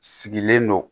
Sigilen don